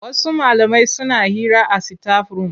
Wasu malamai suna hira a sitaf-rum.